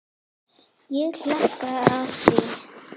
Ég hallast að því.